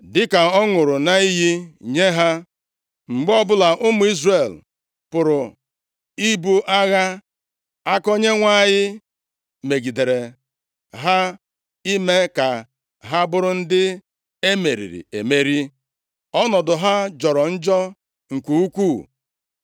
Dịka ọ ṅụrụ ya nʼiyi nye ha, mgbe ọbụla ụmụ Izrel pụrụ ibu agha, aka Onyenwe anyị megidere ha ime ka ha bụrụ ndị e meriri emeri. Ọnọdụ ha jọrọ njọ nke ukwuu.